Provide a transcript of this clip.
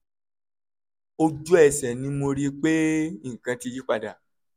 ojú ẹsẹ̀ ni mo rí i pé nǹkan ti yí padà